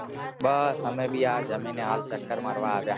બસ અમે ભી આ જમીને ચકર મારવા આવયા